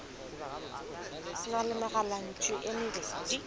na le megalantšu e mebedi